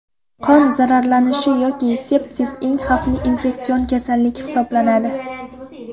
Qon zararlanishi yoki sepsis eng xavfli infeksion kasallik hisoblanadi.